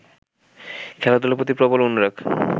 খেলাধূলার প্রতি প্রবল অনুরাগ